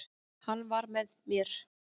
Hann var með mér.